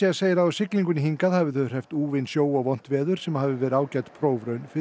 segir að á siglingunni hingað hafi þau úfinn sjó og vont veður sem hafi verið ágæt prófraun fyrir